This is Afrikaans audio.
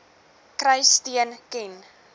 kry steun ken